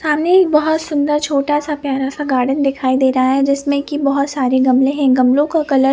सामने एक बहत सुन्दर छोटा सा प्यारा सा गार्डन दिखाई दे रहा है जिसमे की बहत सारे गमले है गमलो का कलर --